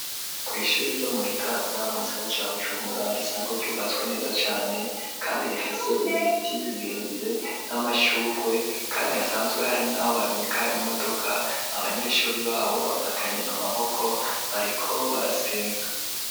Kw'ishure ryo mu Gitaza, mu gisagara ca Bujumbura, risanzwe ryubatswe neza cane kandi rifise ibiti birebire n'amashugwe, kandi hasanzwe hari naho babika imodoka, abanyeshure baho bafatanye amaboko, bariko barasenga.